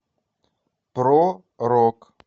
про рок